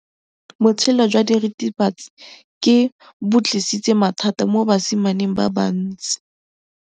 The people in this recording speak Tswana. Botshelo jwa diritibatsi ke bo tlisitse mathata mo basimaneng ba bantsi.